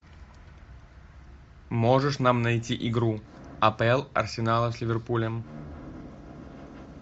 можешь нам найти игру апл арсенала с ливерпулем